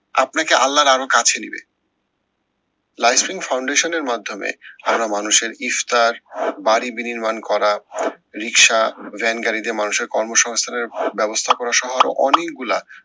আপনাকে আল্লার আরো কাছে নিবে। life in foundation এর মাধ্যমে মানুষের ইফতার বাড়ি বিনির্মাণ করা রিক্সা, ভ্যানগাড়ি দিয়ে মানুষের কর্মসংস্থানের ব্যাবস্থা করা সহ আরো অনেকগুলা